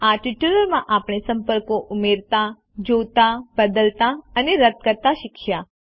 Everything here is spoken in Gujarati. આ ટ્યુટોરીયલ માં આપણે સંપર્કો ઉમેરતા જોતા બદલતા અને રદ કરતા શીખ્યા